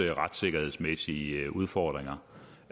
af retssikkerhedsmæssige udfordringer